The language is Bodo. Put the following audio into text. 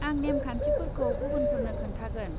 आं नेम खान्थिफोरखौ गुबुनफोरनो खोन्थागोन।